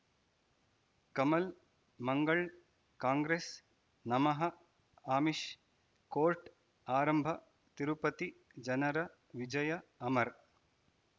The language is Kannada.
ಕಮಲ್ ಮಂಗಳ್ ಕಾಂಗ್ರೆಸ್ ನಮಃ ಅಮಿಷ್ ಕೋರ್ಟ್ ಆರಂಭ ತಿರುಪತಿ ಜನರ ವಿಜಯ ಅಮರ್